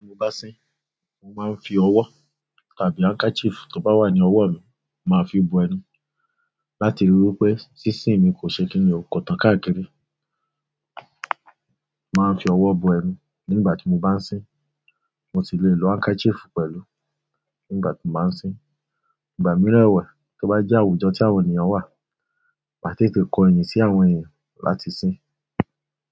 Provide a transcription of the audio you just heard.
Tí mo bá sín mo máa ń fi ọwọ́ tàbí handkerchief tó bá wà ní ọwọ́ mi, màá fi bó ẹnu láti ríi wí pé sísìn mi kò ṣe kíni ọ̀kọ̀tan káàkiri. Màá ń fi ọwọ́ bu ẹnu nígbà tí mo bá sín, mo sì le lo handkerchief pẹ̀lú nígbà tí mo bá sín. Ìgbà mìíràn ẹ̀wẹ̀ tó bá jẹ́ àwùjọ tí àwọn ènìyàn wà, màá tètè kọ ẹyin sí àwọn ènìyàn láti sín.